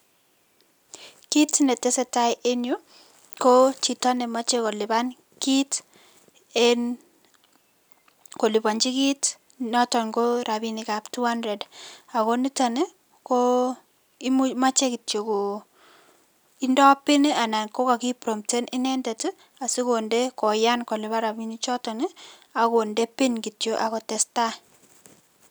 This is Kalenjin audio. Kiit netesetaa en yuu ko chito nemoche koliban kiit en kolibonchi kiit noton ko rabinikab two hundred ak ko niton ko moche kityok ko indo pin anan ko kokipromten inendet asikonde koyan koliban rabinichoton ak konde pin kityok ak kotesta.